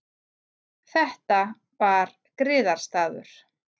Þetta var griðastaður.